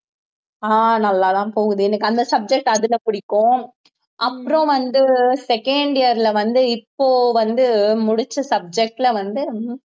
ஆஹ் நல்லாதான் போகுது எனக்கு அந்த subject அதுல பிடிக்கும் அப்புறம் வந்து second year ல வந்து இப்போ வந்து முடிச்ச subject ல வந்து